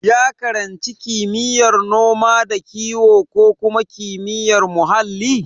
Ya karanci kimiyyar noma da kiwo ko kuma kimiyyar muhalli?